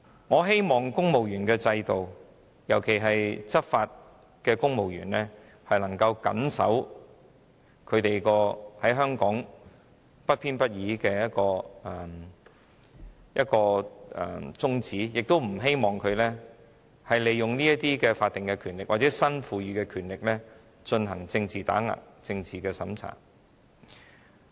我希望香港負責執法的公務員能夠謹守不偏不倚的宗旨，而不希望他們利用法定權力或新增權力進行政治打壓及政治審查。